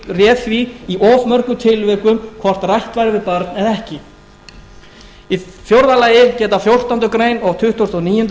réð því í of mörgum tilvikum hvort rætt væri við barn eða ekki í fjórða lagi geta fjórtándu greinar og tuttugasta og níundu